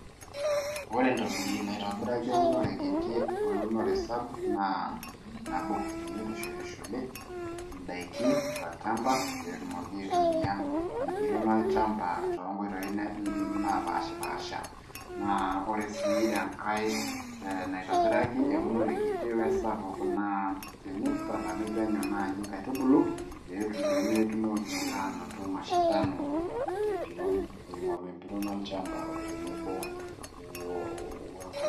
ore entoki naitobiraki eunore ekiti we unore sapuk naa nabo, teneitushulishuli, idaiki tolchampa, pee etumoki aitumia empiron olchampa, aa too nkoitoi naapishipaasha, naa ore sii enkae, naitobiraki eunore kiti we sapuk, naa tenitalami penyo inkaitubulu, pee metumoki aanoto mashindano te mpiron ,ing'oru empiron olchampa.o tenebo we nkolong'.